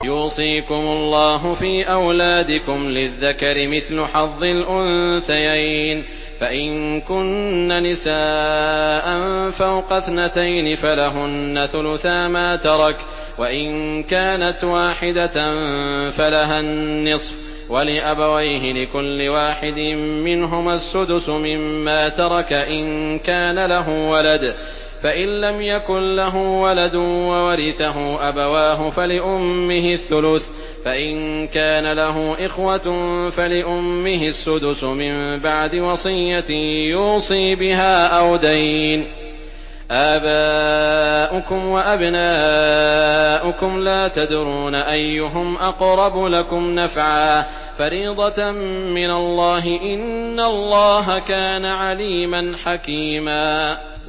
يُوصِيكُمُ اللَّهُ فِي أَوْلَادِكُمْ ۖ لِلذَّكَرِ مِثْلُ حَظِّ الْأُنثَيَيْنِ ۚ فَإِن كُنَّ نِسَاءً فَوْقَ اثْنَتَيْنِ فَلَهُنَّ ثُلُثَا مَا تَرَكَ ۖ وَإِن كَانَتْ وَاحِدَةً فَلَهَا النِّصْفُ ۚ وَلِأَبَوَيْهِ لِكُلِّ وَاحِدٍ مِّنْهُمَا السُّدُسُ مِمَّا تَرَكَ إِن كَانَ لَهُ وَلَدٌ ۚ فَإِن لَّمْ يَكُن لَّهُ وَلَدٌ وَوَرِثَهُ أَبَوَاهُ فَلِأُمِّهِ الثُّلُثُ ۚ فَإِن كَانَ لَهُ إِخْوَةٌ فَلِأُمِّهِ السُّدُسُ ۚ مِن بَعْدِ وَصِيَّةٍ يُوصِي بِهَا أَوْ دَيْنٍ ۗ آبَاؤُكُمْ وَأَبْنَاؤُكُمْ لَا تَدْرُونَ أَيُّهُمْ أَقْرَبُ لَكُمْ نَفْعًا ۚ فَرِيضَةً مِّنَ اللَّهِ ۗ إِنَّ اللَّهَ كَانَ عَلِيمًا حَكِيمًا